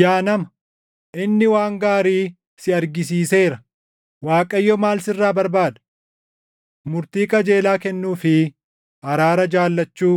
Yaa nama, inni waan gaarii si argisiiseera. Waaqayyo maal sirraa barbaada? Murtii qajeelaa kennuu fi araara jaallachuu,